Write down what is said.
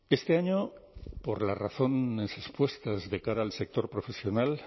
este año por las razones expuestas de cara al sector profesional